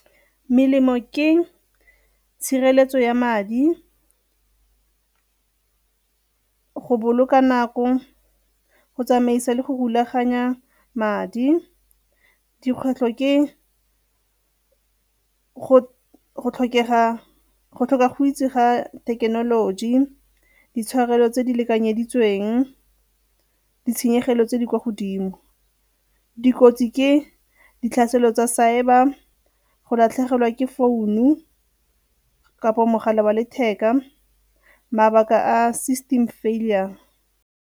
Melemo ke tshireletso ya madi, go boloka nako, go tsamaisa le go rulaganya madi. Dikgwetlho ke go tlhoka go itse ga thekenoloji, ditshwanelo tse di lekanyeditsweng ditshenyegelo tse di kwa godimo. Dikotsi ke ditlhaselo tsa cyber, go latlhegelwa ke founu kapa mogala wa letheka mabaka a system failure.